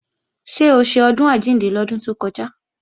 Ṣé o ṣe Ọdún Àjíǹde lọ́dún tó kọjá?